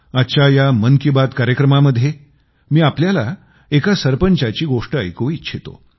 आजच्या या मन की बात कार्यक्रमामध्ये मी आपल्याला एका सरपंचाची गोष्ट ऐकवू इच्छितो